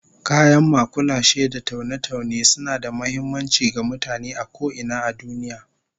Kayan makulashe da taune-taune suna da muhimmanci ga mutane a ko ina a duniya